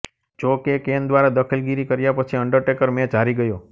જો કે કેન દ્વારા દખલગીરી કર્યા પછી અંડરટેકર મેચ હારી ગયો